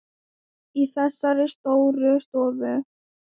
Í þessari stóru stofu?